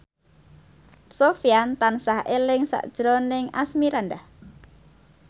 Sofyan tansah eling sakjroning Asmirandah